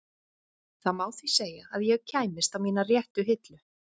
Það má því segja að ég kæmist á mína réttu hillu.